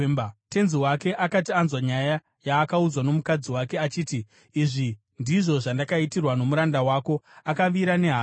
Tenzi wake akati anzwa nyaya yaakaudzwa nomukadzi wake achiti, “Izvi ndizvo zvandakaitirwa nomuranda wako,” akavira nehasha.